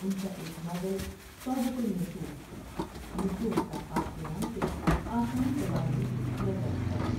ان کا ایک ناول توبتہ النصوح " النصوح کا خواب '' کے نام سے آسان زبان میں پیش کیا جا چکا ہے ۔